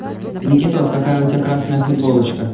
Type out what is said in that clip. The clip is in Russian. никитос какая у тебя красная футболочка